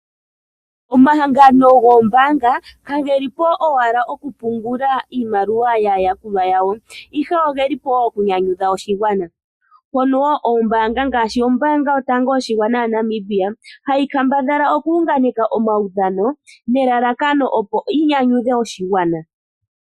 Omahangano goombaanga ka ge li po owala okupungula iimaliwa yaayakulwa yawo ashike oye li po woo okunyanyudha oshigwana, mpono wo ngaashi ombaanga yotango yopashigwana hayi kambadhala oku unganeka omaudhano nelalakano opo yi nyanyudhe oshigwana.